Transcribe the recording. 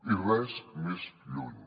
i res més lluny